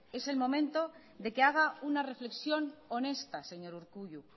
es el momento de que haga una reflexión honesta señor urkullu